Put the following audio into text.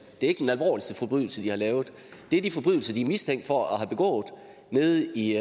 er ikke den alvorligste forbrydelse de har begået det er de forbrydelser de er mistænkt for at have begået nede i